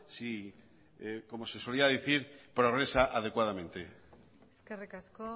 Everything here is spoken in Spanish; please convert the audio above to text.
si como se solía decir progresa adecuadamente eskerrik asko